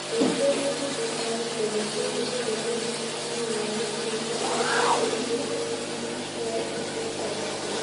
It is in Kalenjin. Eng kesit kotaku kole COVID komuch kitiny laguk chemiten ngweny nebo MPL Threshold